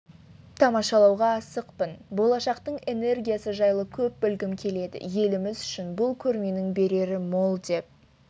тамашалауға асықпын болашақтың энергиясы жайлы көп білгім келеді еліміз үшін бұл көрменің берері мол деп